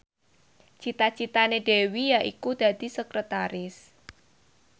cita citane Dewi yaiku dadi sekretaris